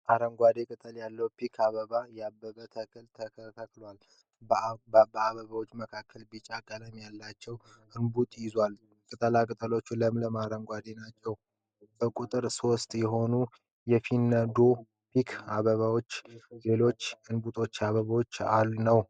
አረንጓዴ ቅጠል ያለዉ ፒክ አበባ ያበበ ተክል ተተክሏል። ከአበባዉ መካከል ቢጫ ቀለም ያለዉ እንቡጥ ይዟል። ቅጠሎቹ ለምለም አረንጓዴ ናቸዉ። በቁጥር ሦስት የሆኑ የፈነዱ ፒክ አበባ ናቸዉ። ሌሎቹ እንቡጥ አበባ ነዉ።